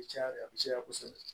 Caya de a bɛ caya kosɛbɛ